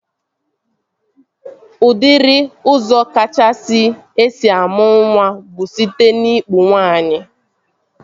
Udiri ụzọ kachasị esi amụ nwa bụ site n'ikpu nwaanyị